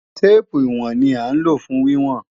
Téèpù ìwọ̀n ni à ń lò fún wíwọ̀n